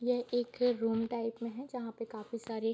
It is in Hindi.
यह एक है रूम टाइप में है जहापे काफी सारे --